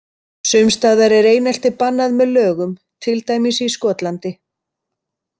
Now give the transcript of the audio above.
Sums staðar er einelti bannað með lögum, til dæmis í Skotlandi.